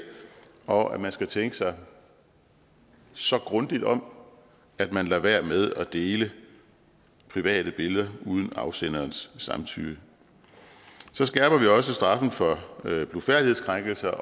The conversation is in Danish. og at man skal tænke sig så grundigt om at man lader være med at dele private billeder uden afsenderens samtykke så skærper vi også straffen for blufærdighedskrænkelse